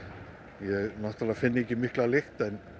ég náttúrulega finn ekki mikla lykt